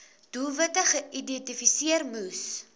doelwitte geïdentifiseer moes